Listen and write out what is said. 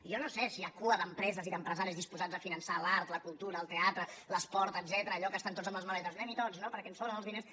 jo no sé si hi ha cua d’empreses i d’empresaris disposats a finançar l’art la cultura el teatre l’esport etcètera allò que estan tots amb les maletes anemhi tots no perquè ens sobren els diners